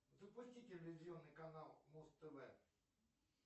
запусти телевизионный канал муз тв